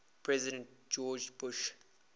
president george bush